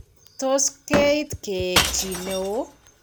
Tos keiit keek chi ne oo.